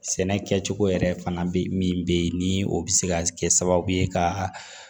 Sɛnɛ kɛcogo yɛrɛ fana bɛ min bɛ ye ni o bɛ se ka kɛ sababu ye ka